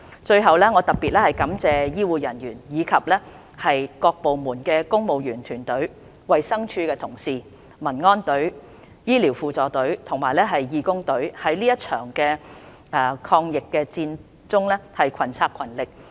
最後，我特別感謝醫護人員，以及各部門的公務員團隊、衞生署同事、民安隊、醫療輔助隊和義工隊在這場抗疫戰中群策群力。